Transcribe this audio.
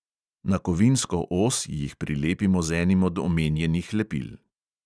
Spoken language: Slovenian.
Na kovinsko os jih prilepimo z enim od omenjenih lepil.